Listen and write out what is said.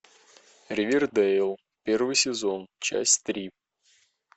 ривердейл первый сезон часть три